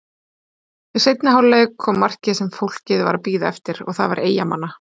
Í seinni hálfleik kom markið sem fólkið var að bíða eftir og það var Eyjamanna.